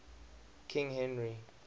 king henry